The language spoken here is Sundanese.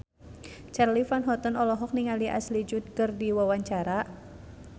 Charly Van Houten olohok ningali Ashley Judd keur diwawancara